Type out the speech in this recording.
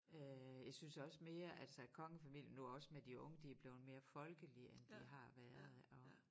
Øh jeg synes også mere altså at kongefamilien nu også med de unge de er blevet mere folkelige end de har været og